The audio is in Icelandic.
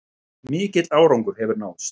Mikill árangur hefur náðst